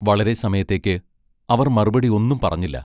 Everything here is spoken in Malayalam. വളരെ സമയത്തേക്ക് അവർ മറുപടി ഒന്നും പറഞ്ഞില്ല.